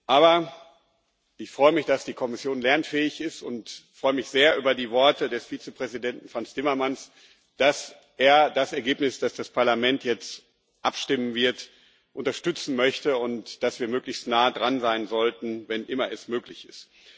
Aber ich freue mich, dass die Kommission lernfähig ist, und freue mich sehr über die Worte des Vizepräsidenten Frans Timmermans, dass er das Ergebnis, über das das Parlament jetzt abstimmen wird, unterstützen möchte, und dass wir möglichst nah dran sein sollten, wenn immer es möglich ist.